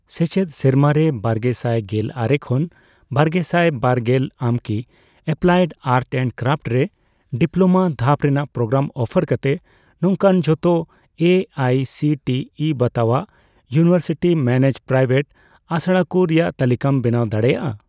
ᱥᱮᱪᱮᱫ ᱥᱮᱨᱢᱟᱨᱮ ᱵᱟᱨᱜᱮᱥᱟᱭ ᱜᱮᱞᱟᱨᱮ ᱠᱷᱚᱱ ᱵᱟᱨᱜᱮᱥᱟᱭ ᱵᱟᱨᱜᱮᱞ ᱟᱢᱠᱤ ᱮᱯᱞᱟᱭᱮᱰ ᱟᱨᱴ ᱮᱱᱰ ᱠᱨᱟᱯᱷᱴ ᱨᱮ ᱰᱤᱯᱞᱳᱢᱟ ᱫᱷᱟᱯ ᱨᱮᱱᱟᱜ ᱯᱨᱳᱜᱨᱟᱢ ᱚᱯᱷᱟᱨ ᱠᱟᱛᱮ ᱱᱚᱝᱠᱟᱱ ᱡᱷᱚᱛᱚ A I C T E ᱵᱟᱛᱟᱣᱟᱜ ᱤᱭᱩᱱᱤᱣᱮᱨᱥᱤᱴᱤ ᱢᱮᱱᱮᱡᱰᱼᱯᱨᱟᱭᱶᱮᱴ ᱟᱥᱲᱟᱠᱩ ᱨᱮᱭᱟᱜ ᱛᱟᱞᱤᱠᱟᱢ ᱵᱮᱱᱟᱣ ᱫᱟᱲᱮᱭᱟᱜᱼᱟ ?